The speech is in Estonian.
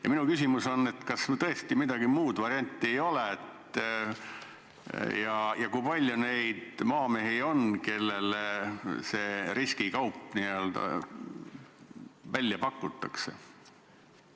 Ja minu küsimus on: kas sul tõesti mingist muud varianti ei ole ja kui palju neid maamehi on, kellele see riskikaup välja pakutakse?